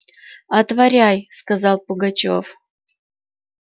отворяй сказал пугачёв